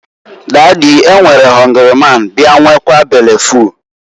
"Dady, e nwere họngrị man ya nwekaa bele ful.